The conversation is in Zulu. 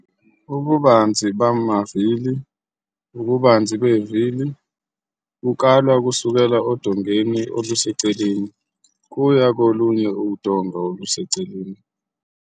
Ububanzi bamavili - ububanzi bevili bukalwa kusukela odongeni oluseceleni kuya kolunye udonga oluseceleni.